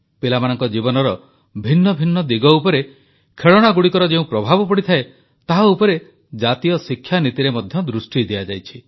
ପିଲାମାନଙ୍କ ଜୀବନର ଭିନ୍ନ ଭିନ୍ନ ଦିଗ ଉପରେ ଖେଳଣାଗୁଡ଼ିକର ଯେଉଁ ପ୍ରଭାବ ପଡ଼ିଥାଏ ତାହା ଉପରେ ଜାତୀୟ ଶିକ୍ଷା ନୀତିରେ ମଧ୍ୟ ଦୃଷ୍ଟି ଦିଆଯାଇଛି